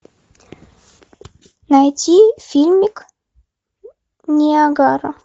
найти фильмик ниагара